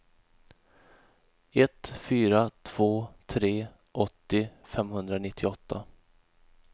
ett fyra två tre åttio femhundranittioåtta